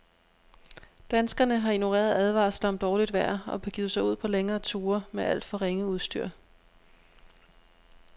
Danskerne har ignoreret advarsler om dårligt vejr og begivet sig ud på længere ture med alt for ringe udstyr.